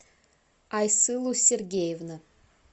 айсылу сергеевна